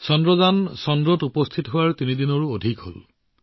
চন্দ্ৰযান চন্দ্ৰমাত উপস্থিত হোৱা তিনিদিনতকৈ বেছি হল